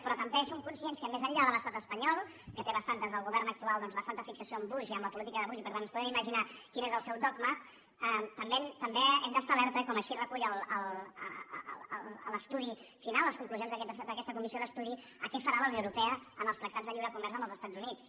però també som conscients que més enllà de l’estat espanyol que té bastanta el govern actual fixació amb bush i amb la política de bush i per tant ens podem imaginar quin és el seu dogma també hem d’estar alerta com així recull l’estudi final les conclusions d’aquesta comissió d’estudi a què farà la unió europea en els tractats de lliure comerç amb els estats units